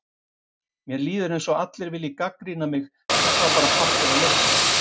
Mér líður eins og allir vilji gagnrýna mig, en þetta er bara partur af leiknum.